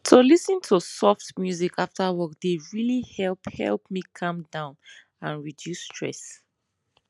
to lis ten to soft music after work dey really help help me calm down and reduce stress